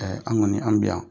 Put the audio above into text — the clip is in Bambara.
an kɔni an bɛ yan,